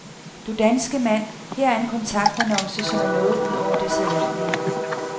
Du danske mand her er en kontaktannonce, som er noget ud over det sædvanlige.